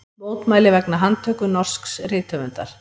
Mótmæli vegna handtöku norsks rithöfundar